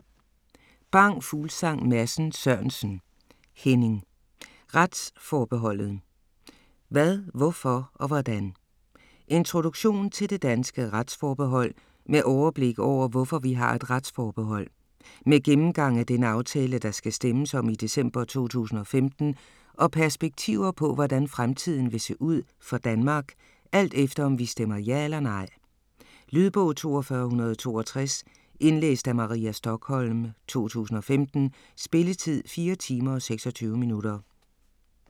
Bang Fuglsang Madsen Sørensen, Henning: Retsforbeholdet: hvad, hvorfor og hvordan? Introduktion til det danske retsforbehold med overblik over hvorfor vi har et retsforbehold. Med gennemgang af den aftale der skal stemmes om i december 2015 og perspektiver på hvordan fremtiden vil se ud for Danmark, alt efter om vi stemmer ja eller nej. Lydbog 42162 Indlæst af Maria Stokholm, 2015. Spilletid: 4 timer, 26 minutter.